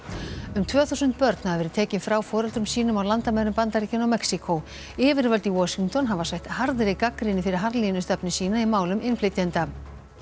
um tvö þúsund börn hafa verið tekin frá foreldrum sínum á landamærum Bandaríkjanna og Mexíkó yfirvöld í Washington hafa sætt harðri gagnrýni fyrir harðlínustefnu sína í málum innflytjenda